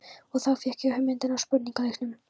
Og þá fékk ég hugmyndina að spurningaleiknum.